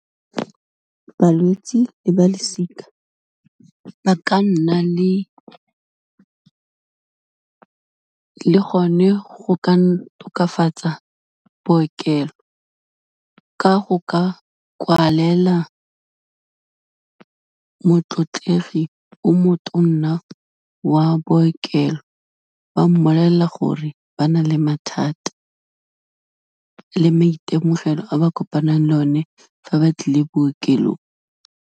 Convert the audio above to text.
Balwetsi le balosika, ba ka nna le le gone, go ka tokafatsa bookelo, ka go ka kwalela motlotlegi o motonna wa bookelo, ba mmolelela gore ba na le mathata le maitemogelo a ba kopanang le one fa ba tlile bookelong.